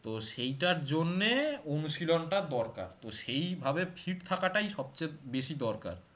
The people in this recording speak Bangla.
তো সেইটার জন্যে অনুশীলনটা দরকার তো সেইভাবে fit থাকাটাই সবচেয়ে বেশি দরকার